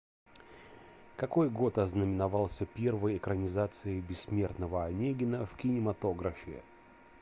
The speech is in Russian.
какой год ознаменовался первой экранизацией бессмертного онегина в кинематографе